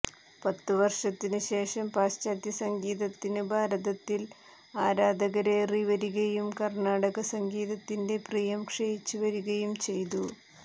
പത്ത് വർഷത്തിനു ശേഷം പാശ്ചാത്യ സംഗീതത്തിന് ഭാരതത്തിൽ ആരാധകരേറി വരികയും കർണ്ണാടക സംഗീതത്തിന്റെ പ്രിയം ക്ഷയിച്ച് വരികയും ചെയ്തു